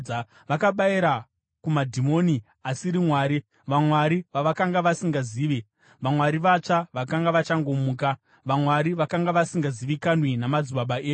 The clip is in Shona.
Vakabayira kumadhimoni, asiri Mwari, vamwari vavakanga vasingazivi, vamwari vatsva vakanga vachangomuka, vamwari vakanga vasingazivikanwi namadzibaba enyu.